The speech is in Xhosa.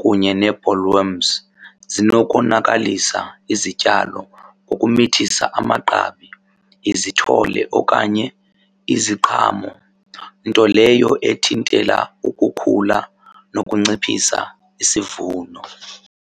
kunye nee-ballworms zinokonakalisa izityalo ngokumithisa amagqabi, izithole okanye iziqhamo. Nto leyo ethintela ukukhula nokunciphisa isivuno.